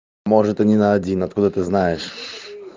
может они на один откуда ты знаешь